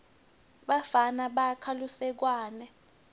bafana bakha lusekwane